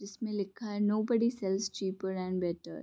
जिसमें लिखा है nobody sells cheaper and better.